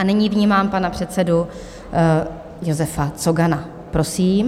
A nyní vnímám pana předsedu Josefa Cogana, prosím.